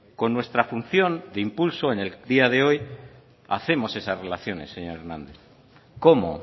cuando nuestra función de impulso en el día de hoy hacemos esas relaciones cómo